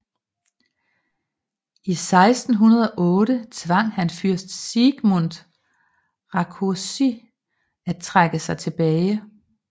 I 1608 tvang han fyrst Siegmund Rákóczi at trække sig tilbage